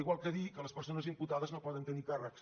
igual que dir que les persones imputades no poden tenir càrrecs